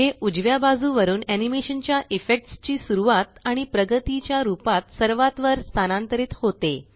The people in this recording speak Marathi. हे उजव्या बाजुवरून एनीमेशन च्या इफेक्ट्स ची सुरवात आणि प्रगतीच्या रूपात सर्वात वर स्थानांतरित होते